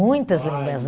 Muitas lembranças.